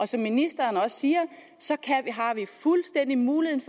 som ministeren også siger har vi fuldstændig mulighed